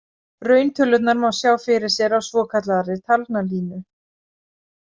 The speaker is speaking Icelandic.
Rauntölurnar má sjá fyrir sér á svokallaðri talnalínu.